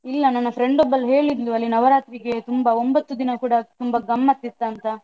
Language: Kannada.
ಇಲ್ಲ ನನ್ನ friend ಒಬ್ಬಳು ಹೇಳಿದ್ಲು, ಅಲ್ಲಿ ನವರಾತ್ರಿಗೆ ತುಂಬ ಒಂಭತ್ತು ದಿನ ಕೂಡ ತುಂಬ ಗಮ್ಮತ್ ಇತ್ತಂತ.